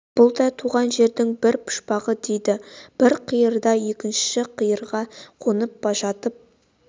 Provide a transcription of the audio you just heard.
бұл да туған жердің бір пұшпағы дейді бір қиырдан екінші қиырға қонып жатып